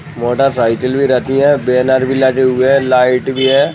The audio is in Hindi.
मोटरसाइकिल भी रखी है बैनर भी लगे हुए है लाइट भी है ।